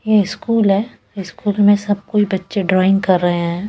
यह स्कूल है स्कूल में सब कोई बच्चे ड्राइंग कर रहे हैं।